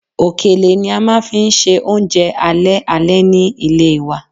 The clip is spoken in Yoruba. Òkèlè ni a máa fi ń ṣe oúnjẹ alẹ́ alẹ́ ni ilé wa